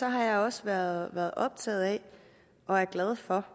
jeg også været optaget af og er glad for